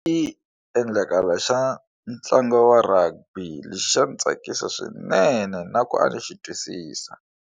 I endlakala xa ntlangu wa rugby lexi xa ndzi tsakisa swinene na ku a ni xi twisisa.